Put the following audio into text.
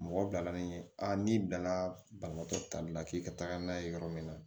Mɔgɔ bilala ni ye n'i bɛna banabaatɔ tali la k'i ka taga n'a ye yɔrɔ min na